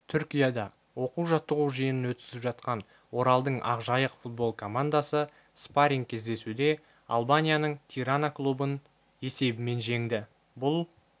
түркияда оқу-жаттығу жиынын өткізіп жатқан оралдың ақжайық футбол командасы спарринг-кездесуде албанияның тирана клубын есебімен жеңді бұл